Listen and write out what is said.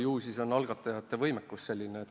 No ju siis on algatajate võimekus selline.